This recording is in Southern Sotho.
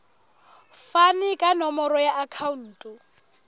fane ka nomoro ya akhauntu